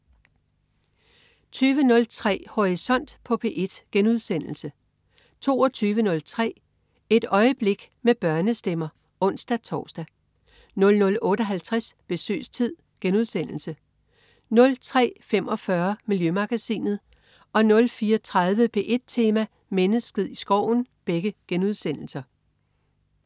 20.03 Horisont på P1* 22.03 Et øjeblik med børnestemmer (ons-tors) 00.58 Besøgstid* 03.45 Miljømagasinet* 04.30 P1 Tema: Mennesket i skoven*